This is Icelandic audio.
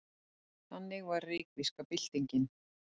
Þannig var reykvíska byltingin.